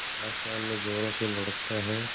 आसमान में ज़ोरों से लुढ़कता है